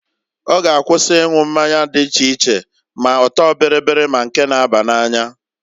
Ọ g'akwụsị ịnwụ mmanya dị iche iche, ma ọtọ bịrị ma nke na-aba n'anya.